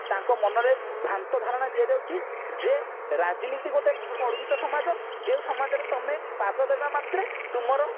ନା ତାଙ୍କ ମନରେ ଭ୍ରାନ୍ତ ଧାରଣା ଦିଆ ଯାଉଛି ଯେ ରାଜନୀତି ଗୋଟେ କଳୁଷିତ ସମାଜ ଯେଉଁ ସମାଜରେ ତମେ ପାଦ ଦେବା ମାତ୍ରେ ତୁମର